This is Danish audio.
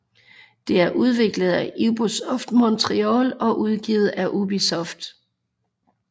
Det er udviklet af Ubisoft Montreal og udgivet af Ubisoft